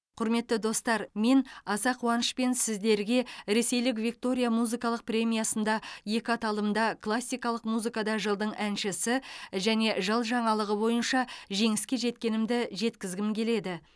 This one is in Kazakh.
құрметті достар мен аса қуанышпен сіздерге ресейлік виктория музыкалық премиясында екі аталымда классикалық музыкада жылдың әншісі және жыл жаңалығы бойынша жеңіске жеткенімді жеткізгім келеді